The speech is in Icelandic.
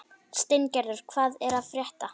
Steingerður, hvað er að frétta?